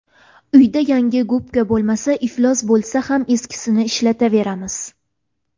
Uyda yangi gubka bo‘lmasa, iflos bo‘lsa ham eskisini ishlataveramiz.